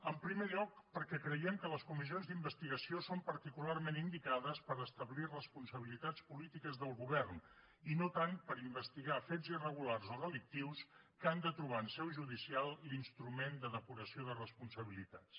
en primer lloc perquè creiem que les comissions d’investigacions són particularment indicades per establir responsabilitats polítiques del govern i no tant per investigar fets irregulars o delictius que han de trobar en seu judicial l’instrument de depuració de responsabilitats